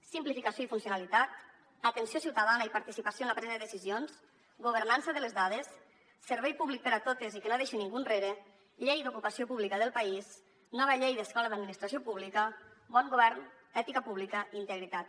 simplificació i funcionalitat atenció ciutadana i participació en la presa de decisions governança de les dades servei públic per a totes i que no deixi ningú enrere llei d’ocupació pública del país nova llei d’escola d’administració pública bon govern ètica pública i integritat